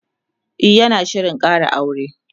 e yana Shirin Kara aure